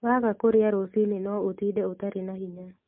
Waga kũrĩa rũciinĩ no ũtinde ũtarĩ na hinya